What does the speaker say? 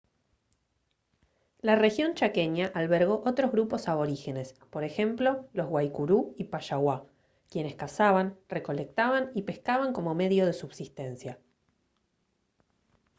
la región chaqueña albergó otros grupos aborígenes por ejemplo los guaycurú y payaguá quienes cazaban recolectaban y pescaban como medio de subsistencia